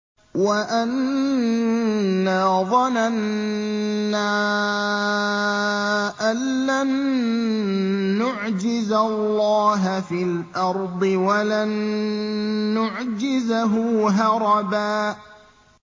وَأَنَّا ظَنَنَّا أَن لَّن نُّعْجِزَ اللَّهَ فِي الْأَرْضِ وَلَن نُّعْجِزَهُ هَرَبًا